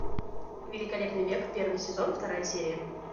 великолепный век первый сезон вторая серия